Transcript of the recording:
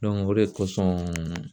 o de kosɔn